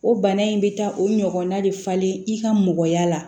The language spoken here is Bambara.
O bana in bɛ taa o ɲɔgɔnna de falen i ka mɔgɔya la